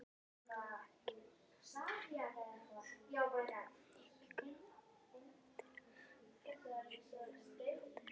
Agnea, hringdu í Gunnvant eftir fjörutíu og fimm mínútur.